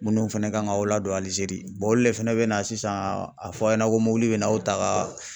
Minnu fɛnɛ kan k'aw ladon Alizeri olu de fɛnɛ bɛ na sisan a fɔ aw ɲɛna ko mɔbili bɛ na aw ta ka